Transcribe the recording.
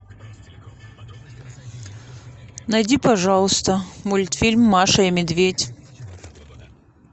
найди пожалуйста мультфильм маша и медведь